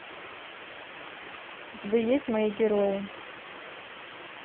у тебя есть мои герои